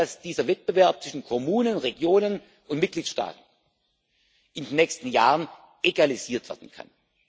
Ich glaube nicht, dass dieser Wettbewerb zwischen Kommunen, Regionen und Mitgliedstaaten in den nächsten Jahren egalisiert werden kann.